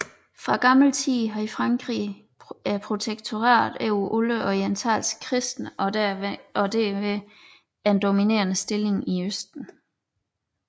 Fra gammel tid havde Frankrig protektoratet over alle orientalske kristne og derved en dominerende stilling i Østen